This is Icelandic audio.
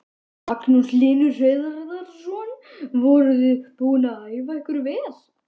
Magnús Hlynur Hreiðarsson: Voruð þið búin að æfa ykkur vel?